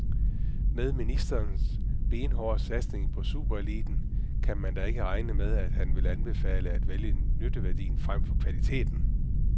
Med ministerens benhårde satsning på supereliten kan man da ikke regne med, at han vil anbefale at vælge nytteværdien frem for kvaliteten.